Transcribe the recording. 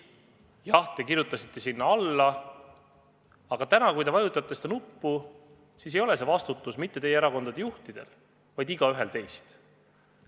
Jah, te kirjutasite sinna alla, aga täna, kui te vajutate seda nuppu, ei ole vastutus mitte teie erakondade juhtidel, vaid igaühel teist.